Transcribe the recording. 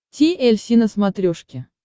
ти эль си на смотрешке